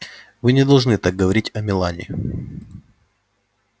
вы не должны так говорить о мелани